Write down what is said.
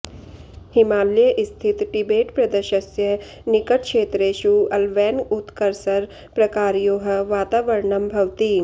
हिमालये स्थित टिबेट् प्रदेशस्य निकटक्षेत्रेषु अल्वैन् उत कर्सर् प्रकारयोः वातावरणं भवति